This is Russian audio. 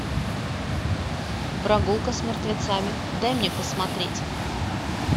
прогулка с мертвецами дай мне посмотреть